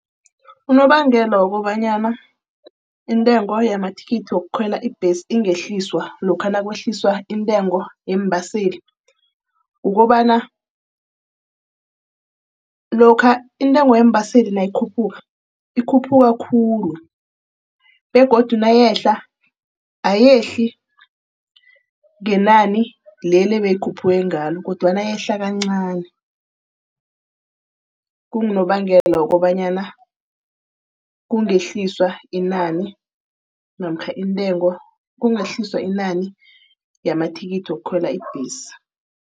Unobangela wokobanyana intengo yamathikithi wokukhwela ibhesi ingehliswa lokha nakwehliswa intengo yeembaseli. Kukobana lokha intengo yeembaseli nayikhuphukako ikhuphuka khulu. Begodu nayehla, ayehla ngenani leli beyikhuphule ngalo, kodwana eyehlako encani. Kungunobangela wokobanyana kungehliswa inani namkha intengo, kungehliswa inani yamathikithi wokukhwela ibhesi.